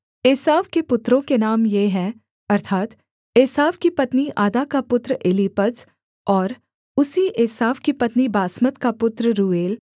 एसाव के पुत्रों के नाम ये हैं अर्थात् एसाव की पत्नी आदा का पुत्र एलीपज और उसी एसाव की पत्नी बासमत का पुत्र रूएल